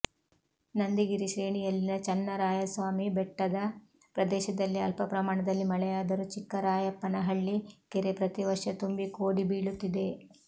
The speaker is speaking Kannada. ನಂದಿಗಿರಿ ಶ್ರೇಣಿಯಲ್ಲಿನ ಚನ್ನರಾಯಸ್ವಾಮಿ ಬೆಟ್ಟದ ಪ್ರದೇಶದಲ್ಲಿ ಅಲ್ಪ ಪ್ರಮಾಣದಲ್ಲಿ ಮಳೆಯಾದರು ಚಿಕ್ಕರಾಯಪ್ಪನಹಳ್ಳಿ ಕೆರೆ ಪ್ರತಿ ವರ್ಷವು ತುಂಬಿ ಕೋಡಿ ಬೀಳುತ್ತಿದೆ